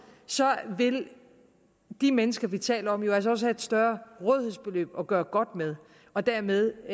så vil de mennesker vi taler om jo altså også have et større rådighedsbeløb at gøre godt med og dermed